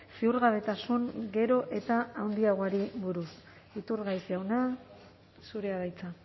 ziurgabetasun gero eta handiagoari buruz iturgaiz jauna zurea da hitza